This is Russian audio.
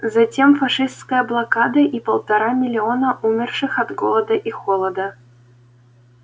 затем фашистская блокада и полтора миллиона умерших от голода и холода